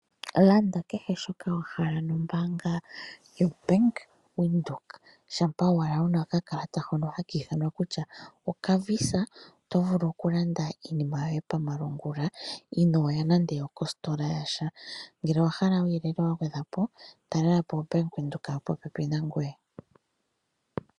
Landa kehe shoka wa hala nombaanga yoBank Windhoek. Shampa owala wu na okakalata hoka haka ithanwa kutya okaVISA to vulu okulanda iinima yoye pamalungula inoya nande okositola ya sha. Ngele owa hala uuyelele wa gwedhwa po talela po oBank Windhoek yi li popepi nangoye.